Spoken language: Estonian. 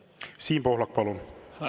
Siim Pohlak, palun!